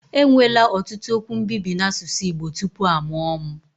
Enwela ọtụtụ okwu mbibi n'asụsụ Igbo tupu a mụo m.